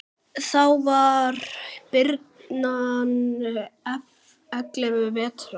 Þá var birnan ellefu vetra.